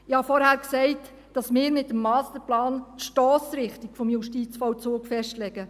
Ich habe vorhin gesagt, dass wir mit dem Masterplan die Stossrichtung des Justizvollzugs festlegen.